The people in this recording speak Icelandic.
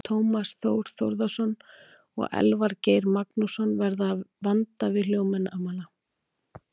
Tómas Þór Þórðarson og Elvar Geir Magnússon verða að vanda við hljóðnemana.